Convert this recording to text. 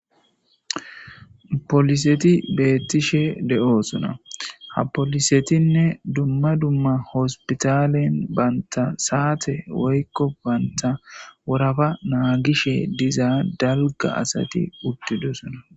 Pooliseti beettishe de7oosona. Ha poolisetinne dumma dumma hospitalen bantta saate woykko bantta woraafa naagishe diza dalga asati uttidosona.